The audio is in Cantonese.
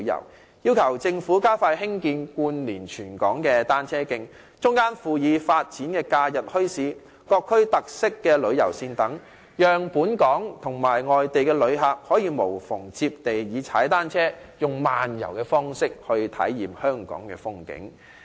我們亦要求政府加快興建貫連全港的單車徑，中間附以發展假日墟市、各區特色旅遊線等，讓本港及外地旅客可以無縫地以踏單車"慢遊"的方式來體驗香港的風景。